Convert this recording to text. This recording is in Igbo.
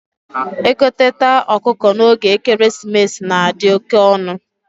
egoteta ọkụkọ na oge ekeresimesi na adi oke onu